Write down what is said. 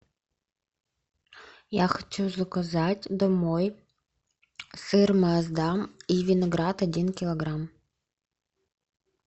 я хочу заказать домой сыр маасдам и виноград один килограмм